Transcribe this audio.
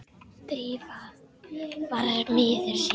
Drífa var miður sín.